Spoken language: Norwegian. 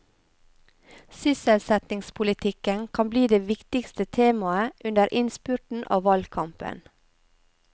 Sysselsettingspolitikken kan bli det viktigste temaet under innspurten av valgkampen.